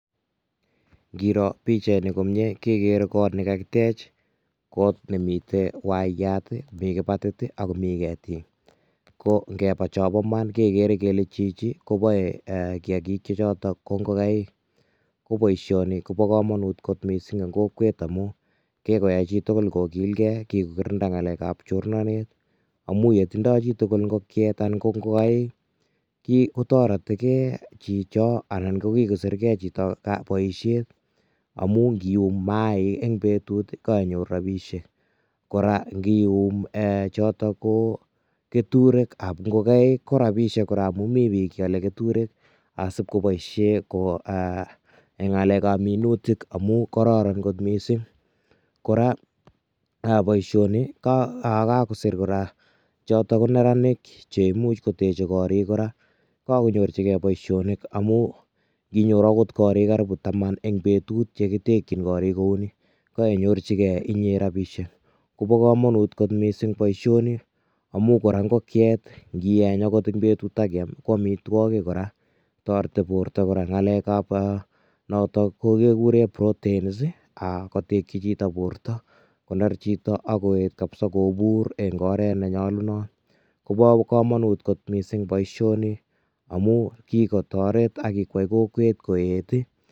Ngiro pichaini komie ke kere got ne kakitech, got ne mite waiyat ii, mi kibatit ii ak komi ketik, ko ngeba cho bo man kekere kele chichi koboe um kiagik che choto ko ngokaik, ko boisioni ko bo kamanut kot mising eng kokwet amu, kikoyai chi tugul ko kilgei, kikokirinda ngalekab chornanet, amu ye tindo chi tugul ngokiet anan ko ngokaik, kotoretekei chicho anan ko kikosirkei chito boisiet, amu ngium maaik eng betut kainyoru rabiisiek, kora ngium chotok ko keturekab ngokaik ko rabiisiek kora amun mi piik che ale keturek asipkoboisie eng ngalekab minutik amu kororon kot mising, kora boisioni kakosir kora choto ko neranik cheimuch koteche korik kora, kakonyorchikei boisionik amu nginyoru akot gorik taman eng betut che kitekyin gorik kou ni, kainyorchikei inye rabiisiek, kobo kamanut kot mising boisioni amu kora angot ngokiet ngieny akot eng betut ak kiam ko amitwogik kora, toreti borta kora eng ngalekab notok kikure proteins ii kotekyi chito borta koner chito ak koet kabisa kobur eng oret ne nyolunot, kobo kamanut boisioni amu kikotoret ak kikwai kokwet koet ii...